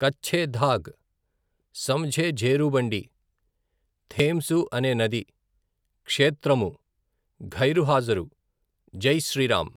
కచ్ఛే ధాగ్, సమఝే ఝేరుబండి, థేమ్సు అనే నది, క్షేత్రము, ఘైర్ హాజరు, జైశ్రీరాం.